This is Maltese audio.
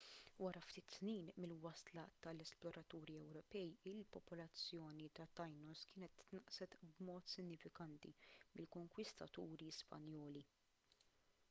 wara ftit snin mill-wasla tal-esploraturi ewropej il-popolazzjoni ta' tainos kienet tnaqqset b'mod sinifikanti mill-konkwistaturi spanjoli